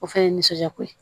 O fɛnɛ ye nisɔndiyako ye